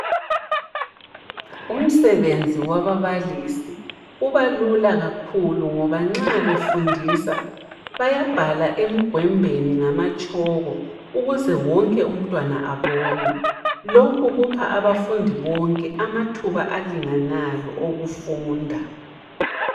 Umsebenzi wababalisi ubalula kakhulu ngoba nxa befundisa bayabhala emgondweni ngamatshoko ukuze wonke umntwana abone lokhu kupha abafundi bonke amathuba alinganayo okufunda.